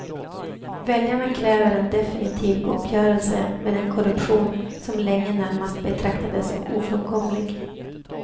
Väljarna kräver en definitiv uppgörelse med den korruption, som länge närmast betraktades som ofrånkomlig.